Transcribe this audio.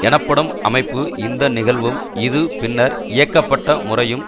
எனப்படும் அமைப்பு இந்த நிகழ்வும் இது பின்னர் இயக்கப்பட்ட முறையும்